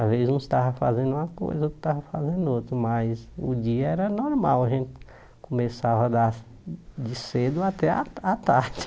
Às vezes uns estavam fazendo uma coisa, outros estavam fazendo outra, mas o dia era normal, a gente começava das de cedo até a a tarde.